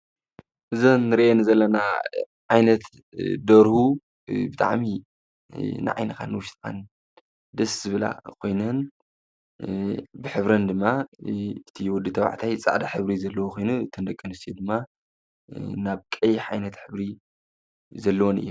እዘን እንሪኣን ዘለና ዓይነት ደርሁ ብጣዕሚ ንዓይንካን ንውሽጥካን ደስ ዝብላ ኮይነን ብሕብረን ድማ እቲ ወዲ ተባዕታይ ፃዕዳ ሕብሪ ዘለዎ ኮይኑ እተን ደቂ አንስትዮ ድማ ናብ ቀይሕ ዓይነት ሕብሪ ዘለዎን እየን።